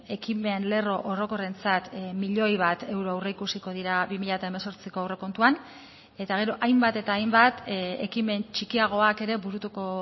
ekimen lerro orokorrentzat milioi bat euro aurreikusiko dira bi mila hemezortziko aurrekontuan eta gero hainbat eta hainbat ekimen txikiagoak ere burutuko